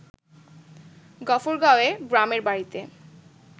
গফরগাঁওএ গ্রামের বাড়িতে